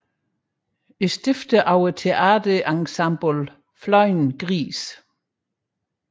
Stifter af teater ensemblet Flyvende Grise